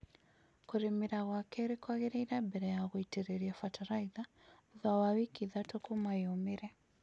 Kũrĩmĩra gwa keerĩ kwagĩrĩre mbere ya gũitĩrĩria fatalaitha thutha wa wiki ithatũ kuma yumĩre